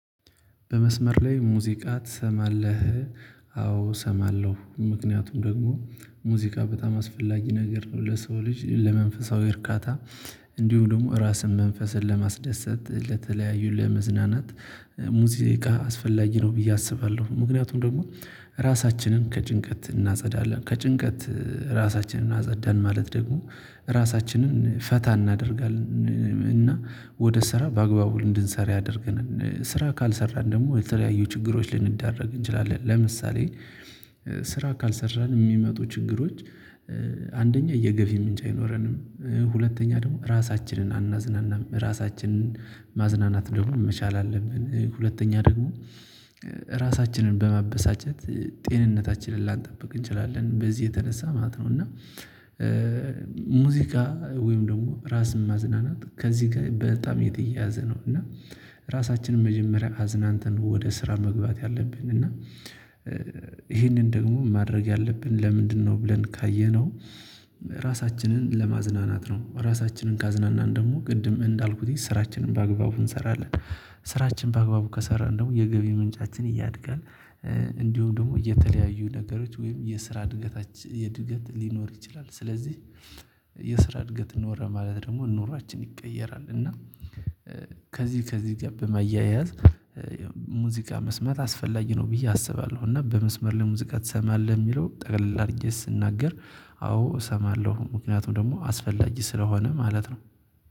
በመስመር ላይ ሙዚቃ ትሰማለህ? አዎ እሰማለሁ ምክንያቱም ደግሞ ሙዚቃ በጣም አስፈላጊ ነገር ነው ለሰው ልጅ ለመንፈሳዊ እርካታ። እንዲሁ ደግሞ ራስን መንፈስን ለማስደሰት ለተለያዩ ለመዝናናት ሙዚቃ አስፈላጊ ነው ብዬ አስባለሁ። ምክንያቱም ደግሞ ራሳችንን ከጭንቀት እናጸዳለን ከጭንቀት ራሳችንን እናጸዳን ማለት ደግሞ ራሳችንን ፈታ እናደርጋለን። እና ወደ ስራ በአግባቡ እንድንሰራ ያደርገናል። ስራ ካልሰራን ደግሞ የተለያዩ ችግሮች ልንዳረግ እንችላለን ለምሳሌ። ስራ ካልሰራን የሚመጡ ችግሮች። አንደኛ የገቢ ምንጭ አይኖረንም። ሁለተኛ ደግሞ ራሳችንን አናዝናናም ራሳችንን ማዝናናት ደግሞ መቻል አለብን። ሁለተኛ ደግሞ ራሳችንን በማበሳጨት ጤንነታችንን ላንጠብቅ እንችላለን በዚህ የተነሳ ማለት ነው። እና ሙዚቃ ወይም ደግሞ ራስን ማዝናናት ከዚህ ጋር በጣም የተያያዘ ነው። እና ራሳችንን መጀመሪያ አዝናንትን ወደ ስራ መግባት አለብን። እና ይህንን ደግሞ ማድረግ ያለብን ለምንድነው? ብለን ካየነው። ራሳችንን ለማዝናናት ነው ራሳችንን ካዝናናን ደግሞ ቅድም እንዳልኩት ስራችንን በአግባቡ እንሰራለን። ስራችን በአግባቡ ከሰራን ደግሞ የገቢ ምንጫችን ያድጋል። እንዲሁም ደግሞ የተለያዩ ነገሮች ወይም የስራ እድገት የእድገት ሊኖር ይችላል። ስለዚህ የስራ እድገት ኖረ ማለት ደግሞ ኑሯችን ይቀየራል። እና ከዚህ ከዚህ ጋር በማያያዝ ሙዚቃ መስማት አስፈላጊ ነው ብዬ አስባለሁ። እና በመስመር ላይ ሙዚቃ ትሰማለህ? የሚለው ጠቅላል አድርጌ ስናገር። አዎ እሰማለሁ ምክንያቱም ደግሞ አስፈላጊ ስለሆነ ማለት ነው